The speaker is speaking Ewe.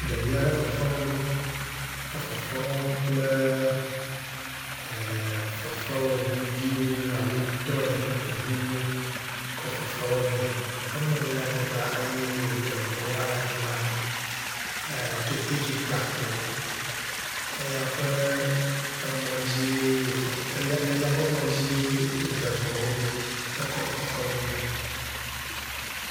Ɖevi aɖe fefewɔm. Efefe wɔm kple e.. fefewɔŋuviwo alo tɔye ŋuwo kɔ le fefewɔmee. Emlɔ anyi ɖe anyigba eye wode ŋuwo hã ɖe anyigba. E keteke gakpo eya ƒe emɔ dzie wo fefe eya eya ƒe emɔ dzie woda ŋuawo ɖo ekɔ fefe wɔ mee.